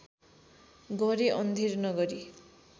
गरे अन्धेर नगरी